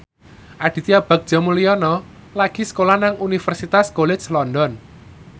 Aditya Bagja Mulyana lagi sekolah nang Universitas College London